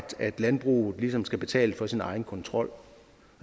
landbruget ligesom skal betale for sin egen kontrol